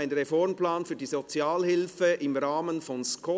Ein Reformplan für die Sozialhilfe im Rahmen von SKOS».